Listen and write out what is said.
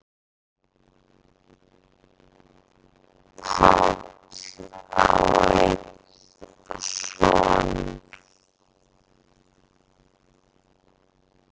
Páll á einn son.